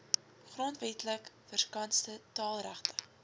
grondwetlik verskanste taalregte